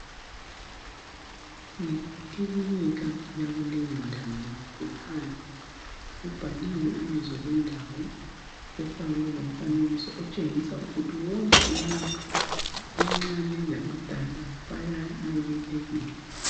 Yikilinika yakuleyo ndawo kukhanya kuphandle kubhaliwe ibizo lendawo kufakwe lomfanekiso otshengisa ukuthi wonke omncane labadala bayamukelekile.